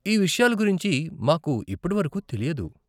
ఈ విషయాల గురించి మాకు ఇప్పటి వరకు తెలియదు.